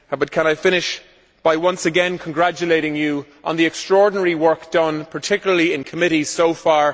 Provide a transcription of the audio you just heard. Can I finish by once again congratulating you on the extraordinary work done, particularly in committees so far.